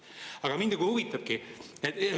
Aga mind huvitabki see.